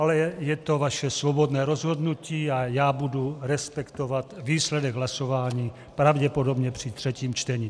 Ale je to vaše svobodné rozhodnutí a já budu respektovat výsledek hlasování pravděpodobně při třetím čtení.